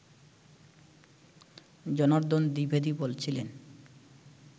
জনার্দন দ্বিবেদী বলছিলেন